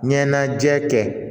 Ɲɛnajɛ kɛ